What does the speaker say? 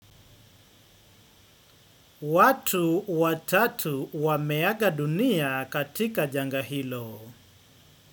Watu watatu wameaga dunia katika janga hilo.